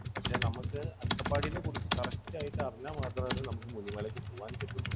പക്ഷേ നമുക്ക് അട്ടപ്പാടിയിനെ കുറിച്ച് correct ആയിട്ട് അറിഞ്ഞാൽ മാത്രമാണ് നമുക്ക് മുനിമലയ്ക്ക് പോകാൻ പറ്റൂ.